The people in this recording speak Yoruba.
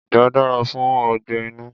Igbà dára fún ọgbẹ́ inú.